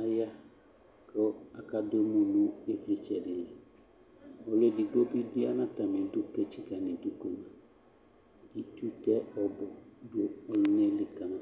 aya kʋ akadʋ emu nʋ ɩvlɩtsɛ dɩ li Ɔlʋ edigbo bɩ ya nʋ atamɩdu kʋ etsikǝ nʋ idu kpe ma Itsu tɛ ɔbʋ nʋ ɔlʋna yɛ li ka ma